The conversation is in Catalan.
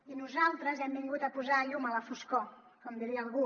i nosaltres hem vingut a posar llum a la foscor com diria algú